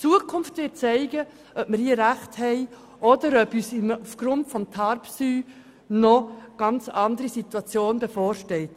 Die Zukunft wird zeigen, ob wir hier richtig liegen oder ob uns aufgrund von TARPSY eine ganz andere Situation bevorsteht.